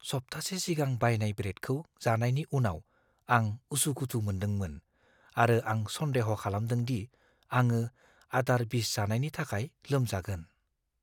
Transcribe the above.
सप्तासे सिगां बायनाय ब्रेडखौ जानायनि उनाव आं उसुखुथु मोन्दोंमोन आरो आं सनदेह' खालामदों दि आंङो आदार बिस जानायनि थाखाय लोमजागोन।